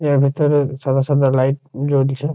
এর ভিতরে সাদা সাদা লাইট জলছে।